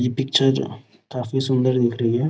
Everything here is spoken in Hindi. ये पिक्चर जो काफी सुन्दर दिख रही है |